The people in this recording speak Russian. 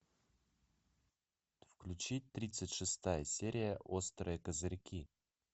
включи тридцать шестая серия острые козырьки